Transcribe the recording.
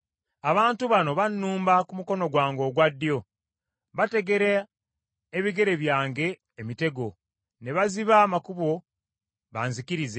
Abantu bano bannumba ku mukono gwange ogwa ddyo; bategera ebigere byange emitego, ne baziba amakubo banzikirize.